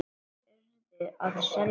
Þeir URÐU að selja.